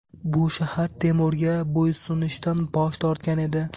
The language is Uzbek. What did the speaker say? Bu shahar Temurga bo‘ysunishdan bosh tortgan edi.